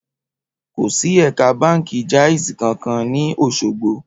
Kò sì ẹ̀ka báǹkì Jaiz kankan ní Òṣogbo